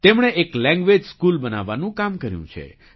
તેમણે એક language school બનાવવાનું કામ કર્યું છે